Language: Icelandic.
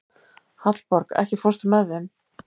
Hallborg, ekki fórstu með þeim?